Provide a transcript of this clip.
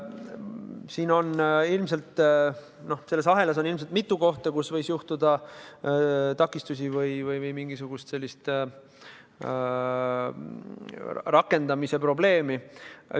Siin selles ahelas on ilmselt mitu kohta, kus võis ette tulla takistusi või olla mingisugune rakendamise probleem.